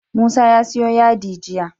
Musa ya siyo yadi jiya